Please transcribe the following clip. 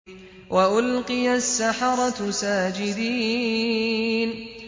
وَأُلْقِيَ السَّحَرَةُ سَاجِدِينَ